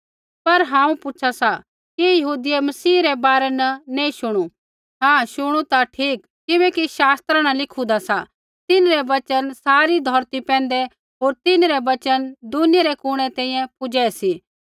पर हांऊँ पूछा सा कि यहूदियै मसीह रै बारै न नैंई शुणु हाँ शुणु ता ठीक किबैकि शास्त्रा न लिखुदा सा तिन्हरै वचन सारी धौरती पैंधै होर तिन्हरै वचन दुनिया रै कुणै तैंईंयैं पूज़ै सी